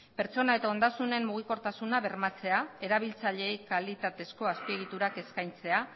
pertsona eta ondasunen mugikortasuna bermatzea erabiltzaileei kalitatezko azpiegiturak eskaintzea